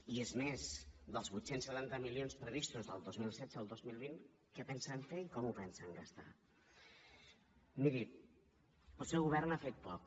i és més dels vuit cents i setanta milions previstos del dos mil setze al dos mil vint què pensen fer i com ho pensen gastar miri el seu govern ha fet poc